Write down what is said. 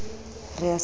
re a se bonye le